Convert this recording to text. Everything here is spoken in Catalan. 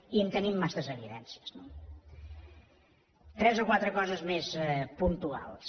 i en tenim massa evidències no tres o quatre coses més puntuals